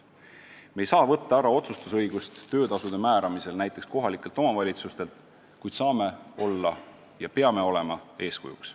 Me ei saa võtta ära otsustusõigust töötasude määramisel näiteks kohalikelt omavalitsustelt, kuid saame olla ja peame olema eeskujuks.